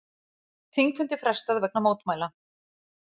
Þingfundi frestað vegna mótmæla